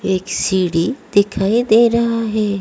एक सीढ़ी दिखाई दे रहा हैं।